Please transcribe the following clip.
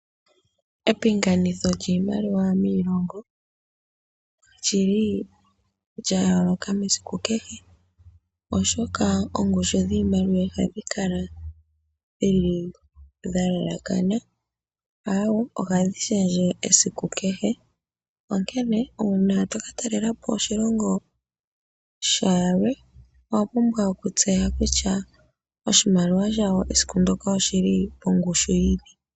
Epingakanitho lyiimaliwa miilongo olili lya yooloka mesiku kehe oshoka oongushu dhiimaliwa ihadhi kala dhili dha lalakana aawe ohadhi shendje kehe esiku . Onkene uuna toka talelapo oshilongo shilwe owa pumbwa okutseya kutya oshimaliwa shayo esiku ndoka oshili pongushu yini.